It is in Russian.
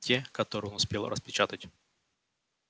те которые он успел распечатать